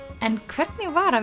en hvernig var